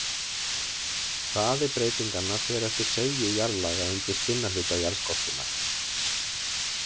Hraði breytinganna fer eftir seigju jarðlaga undir stinna hluta jarðskorpunnar.